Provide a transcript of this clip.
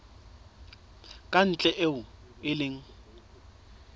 ka ntle eo e leng